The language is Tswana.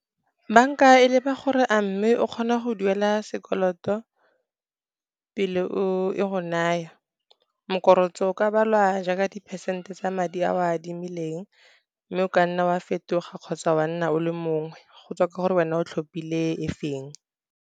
Banka e leba gore a mme o kgona go duela sekoloto, pele e go naya. O ka balwa jaaka di-percent-e tsa madi ao a adimileng, mme o kanna wa fetoga, kgotsa wa nna o le mongwe, go tswa ka gore wena o tlhophile e feng.